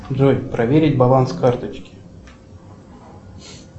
джой проверить баланс карточки